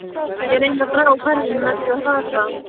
Ég reyni að draga úr ferðinni með því að hrasa.